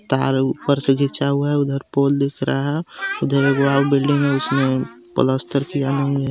तार ऊपर से खींचा हुआ है उधर पोल दिख रहा है उधर एक बिल्डिंग है उसमे प्लास्टर किया नहीं है.